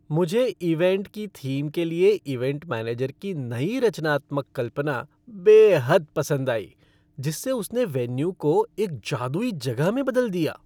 मुझे इवेंट की थीम के लिए इवेंट मैनेजर की नई रचनात्मक कल्पना बेहद पसंद आई जिससे उसने वेन्यू को एक जादुई जगह में बदल दिया।